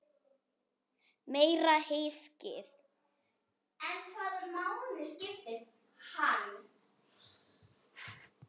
Meira hyskið!